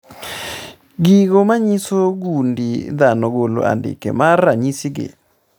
. Gigo manyiso gund dhano golo andike mag ranyisi gi